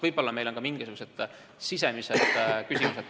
Võib-olla on ka mingisugused muud riigisisesed küsimused.